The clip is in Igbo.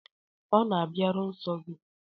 Ọ̀ na-abịaru nsọ gị?